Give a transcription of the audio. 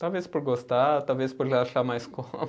Talvez por gostar, talvez por achar mais